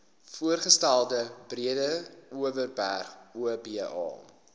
voorgestelde breedeoverberg oba